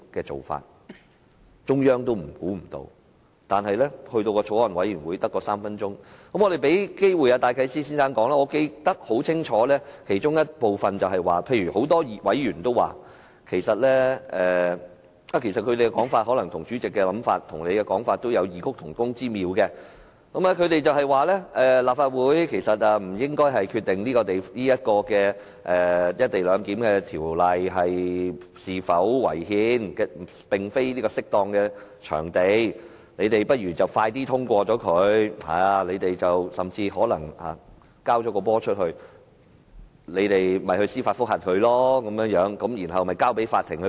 但法案委員會的公聽會只給予大律師公會主席戴啟思先生3分鐘的發言時間，其中一部分我記得很清楚，例如很多委員的說法與主席的說法其實有異曲同工之妙，他們說立法會不應該決定有關"一地兩檢"的《條例草案》是否違憲，它並非適當的場地，大家不如早日讓《條例草案》通過，反對者可以提出司法覆核，交由法庭裁決。